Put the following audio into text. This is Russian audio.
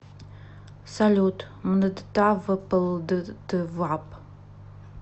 салют мдтавплдтвап